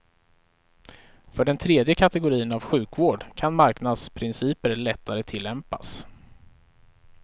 För den tredje kategorin av sjukvård kan marknadsprinciper lättare tillämpas.